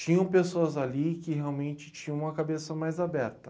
Tinham pessoas ali que realmente tinham a cabeça mais aberta.